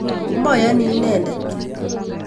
Moyoni inedet